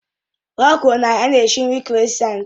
O kwuru na ya na-esi nri kroissants